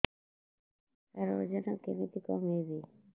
ସାର ଓଜନ କେମିତି କମେଇବି